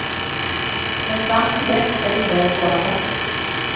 Men fram till dess är det mer än lovande.